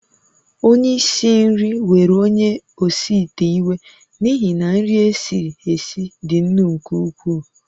Onye isi nri were onye osi ite iwe n’ihi na nri e siri esi dị nnu nke ukwuu